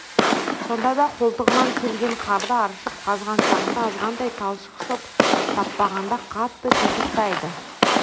сонда да қолтығынан келген қарды аршып қазған шағында азғантай талшық шоп таппағанда қатты титықтайды